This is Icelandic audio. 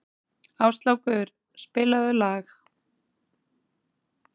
Áslákur, spilaðu lag.